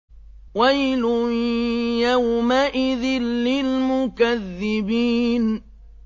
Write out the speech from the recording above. وَيْلٌ يَوْمَئِذٍ لِّلْمُكَذِّبِينَ